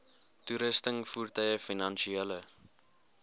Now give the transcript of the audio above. toerusting voertuie finansiële